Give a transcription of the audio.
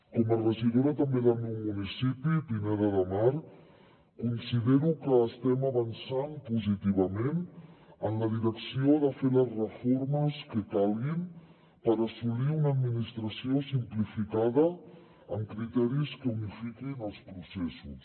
com a regidora també del meu municipi pineda de mar considero que estem avançant positivament en la direcció de fer les reformes que calguin per assolir una administració simplificada amb criteris que unifiquin els processos